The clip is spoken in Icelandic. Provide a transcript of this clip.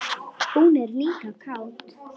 Hún er líka kát.